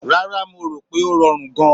Rárá, mo rò pé ó rọrùn gan-an.